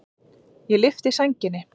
Ég lyfti sænginni.